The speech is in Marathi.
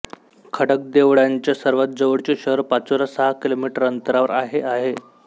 खडकदेवळ्यांच्या सर्वात जवळचे शहर पाचोरा सहा किलोमीटर अंतरावर आहे आहे